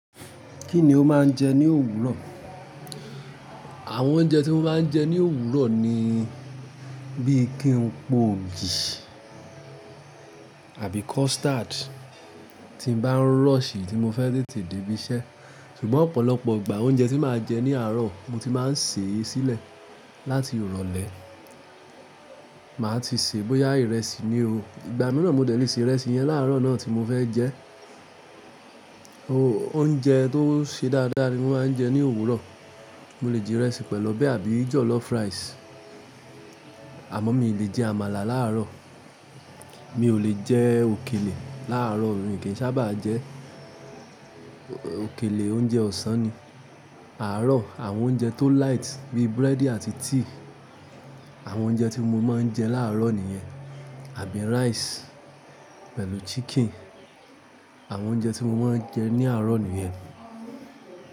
Kí ni o máa ń jẹ ní òwúrọ̀? Àwọn oúnjẹ tí mo máa ń jẹ ní òwúrọ̀ ni bíi kí n po ọ̀gì àbí custard tí n bá ń rọ̀ṣì tí mo fẹ́ tètè débí iṣẹ́. Ṣùgbọ́n ọ̀pọ̀lọpọ̀ ìgbà oúnjẹ tí màá jẹ ní àárọ̀ mo ti máa ń sè e sílẹ̀ láti ìrọ̀lẹ́. Màá ti sè bóyá ìrẹsì ni o. Ìgbà mìíràn mode lè ṣe ìrẹsì yẹn láàrọ̀ náà tí mo fẹ́ jẹ ẹ́. Oúnjẹ tó ṣe dáadáa ni mo máa ń jẹ ní òwúrọ̀. Mo lè jẹ ìrẹsì pẹ̀lú ọbẹ̀ àbí jọ̀lọ́fù rice. Àmọ́ mi ò lè jẹ àmàlà láàárọ̀. Mi ò lè jẹ òkèlè láàárọ̀, èmí o kì í sábà jẹ. Òkèlè oúnjẹ ọ̀sán ni. Àárọ̀, àwọn oúnjẹ tó light bíi búrẹ́dì àti tíì, àwọn oúnjẹ tí mo máa ń jẹ láàárọ̀ nìyẹn. Àbí rice pẹ̀lú chicken. Àwọn oúnjẹ tí mo máa ń jẹ ní àárọ̀ nìyẹn.